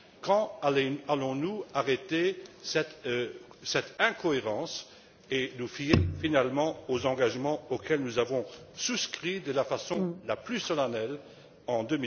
Quand allons nous arrêter cette incohérence et nous fier finalement aux engagements auxquels nous avons souscrit, de la façon la plus solennelle,